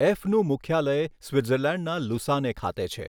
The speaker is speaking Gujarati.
એફનું મુખ્યાલય સ્વિટ્ઝર્લેન્ડના લુસાને ખાતે છે.